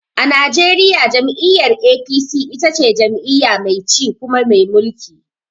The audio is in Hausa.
A najeriya jam'iyyar APC ita ce jam'iyya mai ci kuma mai mulki.